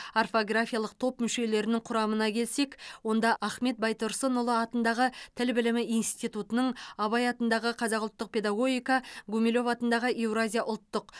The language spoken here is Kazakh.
орфографиялық топ мүшелерінің құрамына келсек онда ахмет байтұрсынұлы атындағы тіл білімі институтының абай атындағы қазақ ұлттық педагогика гумилев атындағы еуразия ұлттық